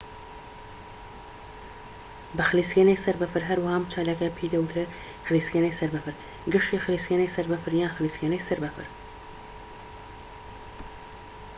بە خلیسکێنەی سەر بەفر هەروەها ئەم چالاکییە پێی دەوترێت خلیسکێنەی سەر بەفر گەشتی خلیسکێنەی سەر بەفر یان خلیسکێنەی سەر بەفر